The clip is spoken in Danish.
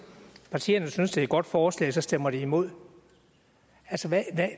partierne synes det er et godt forslag og så stemmer de imod altså hvad